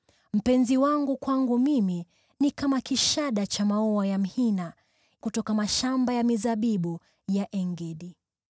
Mpenzi wangu kwangu mimi ni kama kishada cha maua ya mhina kutoka mashamba ya mizabibu ya En-Gedi.